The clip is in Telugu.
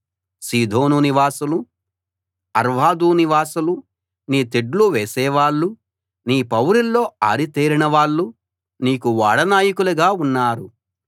సీదోను నివాసులు అర్వదు నివాసులు నీ తెడ్లు వేసేవాళ్ళు నీ పౌరుల్లో ఆరితేరినవాళ్ళు నీకు ఓడ నాయకులుగా ఉన్నారు